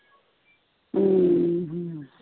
ਅਮ